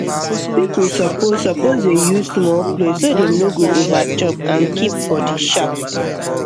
people suppose suppose dey use small plate so dem no go overchop and keep body sharp